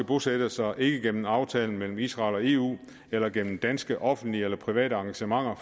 bosættelser ikke gennem aftaler mellem israel og eu eller gennem danske offentlige eller private engagementer